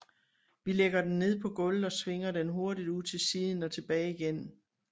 Vi lægger den ned på gulvet og svinger den hurtigt ud til siden og tilbage igen